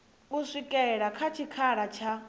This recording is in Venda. u swikela kha tshikhala tsha